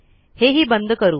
हे हि बंद करू